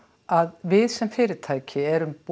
að við sem fyrirtæki erum